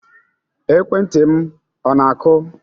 Ekwentị m ọ na-akụ?